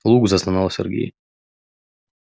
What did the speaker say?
лук застонал сергей